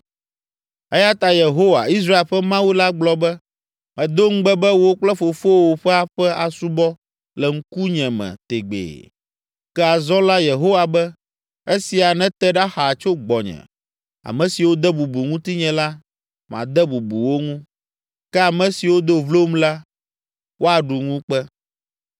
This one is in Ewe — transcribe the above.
“Eya ta Yehowa, Israel ƒe Mawu la gblɔ be, ‘Medo ŋugbe be wò kple fofowò ƒe aƒe asubɔ le ŋkunye me tegbee.’ Ke azɔ la Yehowa be, ‘Esia nete ɖa xaa tso gbɔnye! Ame siwo de bubu ŋutinye la, made bubu wo ŋu, ke ame siwo do vlom la, woaɖu ŋukpe.